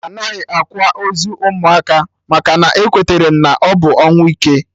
Anaghị akwa ozu ụmụaka maka na-ekweterem na ọ bụ ọnwụ ike